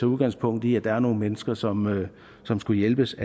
udgangspunkt i at der er nogle mennesker som som skal hjælpes